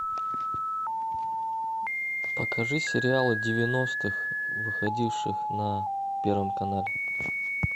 покажи сериалы девяностых выходивших на первом канале